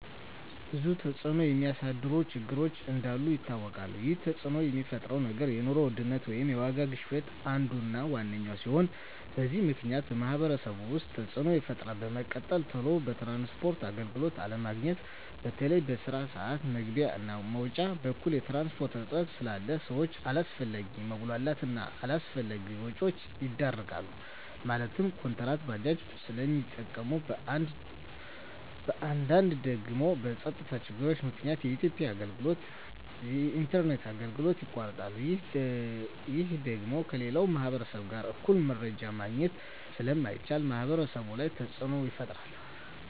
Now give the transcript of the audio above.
ብዙ ተፅዕኖ የሚያሳድሩ ችግሮች እንዳሉ ይታወቃል ይህ ተፅዕኖ የሚፈጥረው ነገር የኑሮ ውድነት ወይም የዋጋ ግሽበት አንዱ እና ዋነኛው ሲሆን በዚህ ምክንያት በማህበረሰቡ ውስጥ ተፅዕኖ ይፈጥራል በመቀጠል ቶሎ የትራንስፖርት አገልግሎት አለማግኘት በተለይ በስራ ስዓት መግቢያ እና መውጫ በኩል የትራንስፖርት እጥረት ስላለ ሰዎች አላስፈላጊ መጉላላት እና አላስፈላጊ ወጪዎች ይዳረጋሉ ማለትም ኩንትራት ባጃጆችን ስለሚጠቀሙ በአንዳንድ ደግሞ በፀጥታ ችግር ምክንያት የኢንተርኔት አገልግሎቶች ይቋረጣሉ ይህ ደግሞ ከሌላው ማህበረሰብ ጋር እኩል መረጃ ማግኘት ስለማይቻል ማህበረሰቡ ላይ ተፅዕኖ ይፈጥራል